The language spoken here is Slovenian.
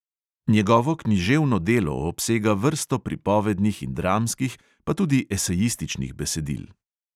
Njegovo književno delo obsega vrsto pripovednih in dramskih, pa tudi esejističnih besedil.